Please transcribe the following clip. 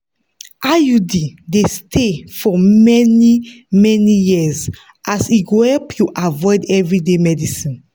iud dey stay for many-many years as e go help you avoid everyday medicines.